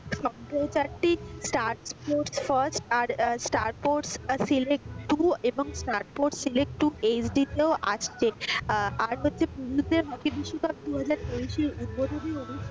star sports first আর star sports select two এব star sports select two hq তেওঁ আসছে আহ আর হচ্ছে পুরুষদের হকি বিশ্বকাপ দুহাজা তেইশে উদ্বোধনীও,